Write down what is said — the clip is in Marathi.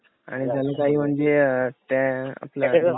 आणि त्यांनी काही म्हणजे त्या आपल्या